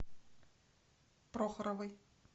прохоровой